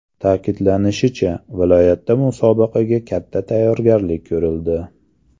Ta’kidlanishicha, viloyatda musobaqaga katta tayyorgarlik ko‘rildi.